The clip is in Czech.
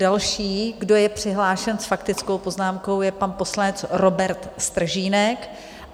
Další, kdo je přihlášen s faktickou poznámkou, je pan poslanec Robert Stržínek.